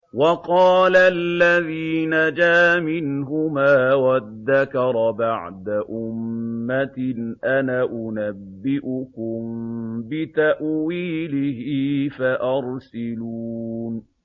وَقَالَ الَّذِي نَجَا مِنْهُمَا وَادَّكَرَ بَعْدَ أُمَّةٍ أَنَا أُنَبِّئُكُم بِتَأْوِيلِهِ فَأَرْسِلُونِ